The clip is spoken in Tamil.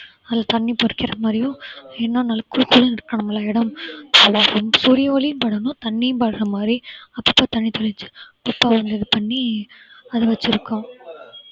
அதுல தண்ணீர் தெளிக்கிற மாதிரியும் ஏன்னா நல்லா குளு குளுன்னு இருக்கணும் இல்ல இடம் சூரிய ஒளியும் படணும் தண்ணியும் படர மாதிரி அப்பப்ப தண்ணி தெளிச்சு அப்பப்ப வந்து இது பண்ணி அதை வெச்சிருக்கோம்